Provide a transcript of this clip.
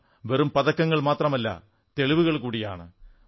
ഇവ വെറും പതക്കങ്ങൾ മാത്രമല്ല തെളിവുകൾ കൂടിയാണ്